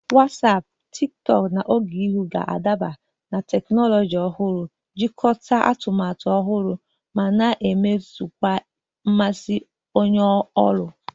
Wasiapu, Sinapuchati, na Ogeihu ga-adaba na teknụzụ ọhụrụ, jikọta atụmatụ ọhụrụ, ma na-emeziwanye mmasị onye ọrụ.